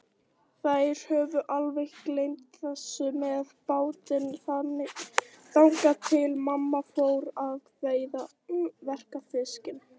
Þær höfðu alveg gleymt þessu með bátinn, þangað til mamma fór að verka fiskinn.